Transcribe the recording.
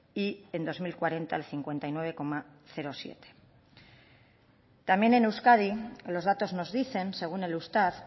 y en dos mil cuarenta el cincuenta y nueve coma siete también en euskadi los datos nos dicen según el eustat